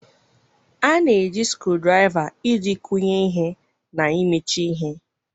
A na-eji screwdriver screwdriver iji kụnye ihe na imechi ihe.